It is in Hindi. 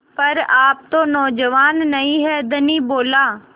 पर आप तो नौजवान नहीं हैं धनी बोला